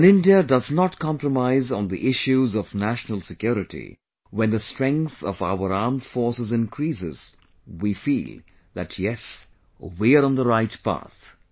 When India does not compromise on the issues of national security, when the strength of our armed forces increases, we feel that yes, we are on the right path